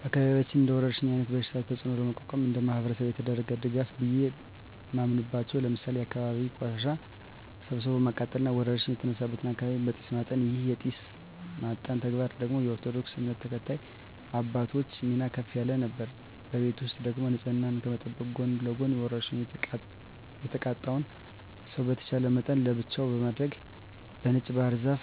በአካባቢያችን እንደወረርሽኝ አይነት በሽታ ተጽኖ ለመቋቋም እንደማህበረሰብ የተደረገ ድጋፍ ቢየ ማምናበቻው ለምሳሌ የአካባቢን ቆሻሻ ሰብስቦ ማቃጠል እና ወረርሽኝ የተነሳበትን አካባቢ በጢስ ማጠን ይህን የጢስ ማጠን ተግባር ደግሞ የኦርቶዶክስ እምነት ተከታይ አባቶች ሚና ከፍ ያለ ነበር። በቤት ውስጥ ደግሞ ንጽህናን ከመጠበቅ ጎን ለጎን በወርሽኙ የተጠቃውን ሰው በተቻለ መጠን ለብቻው በማድረግ በነጭ ባህር ዛፍ